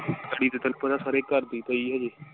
ਤੇ ਤੈਨੂੰ ਪਤਾ ਸਾਰੇ ਘਰ ਦੀ ਪਈ ਹਜੇ।